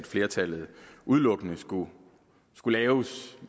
flertallet udelukkende skulle laves